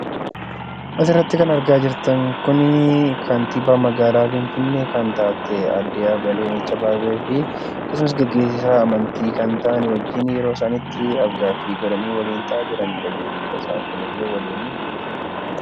Asirratti kan argaa jirtan kun kantiibaa magaalaa Finfinnee kan taate, aadde Adaanech Abeebee fi akkasumas geggeessaa amantii kan ta'an wajjin yeroo isaan itti af-gaaffii godhanii waliin ta'aa jiranii dha jechuu dha. Isaan kunillee waliinii jechuu dha.